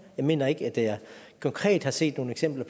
jeg mener ikke at jeg konkret har set nogle eksempler